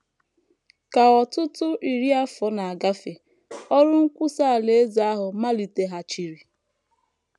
Ka ọtụtụ iri afọ na - agafe, ọrụ nkwusa Alaeze ahụ maliteghachiri.